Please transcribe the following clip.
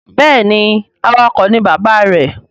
Béèni awakọ̀ ni bàbá rẹ.